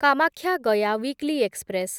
Kamakhya Gaya weekly express